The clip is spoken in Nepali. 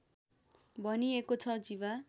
भनिएको छ जीवा